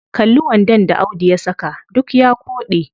Kalli wandon da audu ya saka, duk ya koɗe.